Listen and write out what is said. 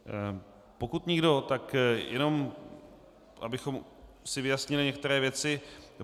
Pokud nikdo, tak jenom abychom si vyjasnili některé věci.